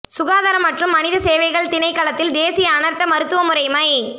சுகாதார மற்றும் மனித சேவைகள் திணைக்களத்தில் தேசிய அனர்த்த மருத்துவ முறைமை